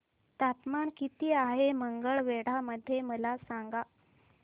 तापमान किती आहे मंगळवेढा मध्ये मला सांगा